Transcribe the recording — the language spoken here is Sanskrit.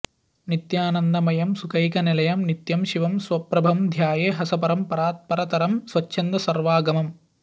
नित्यानन्दमयं सुखैकनिलयं नित्यं शिवं स्वप्रभं ध्याये हंसपरं परात्परतरं स्वच्छन्दसर्वागमम्